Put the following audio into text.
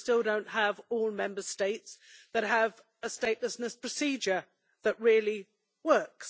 We still do not have all Member States having a statelessness procedure that really works.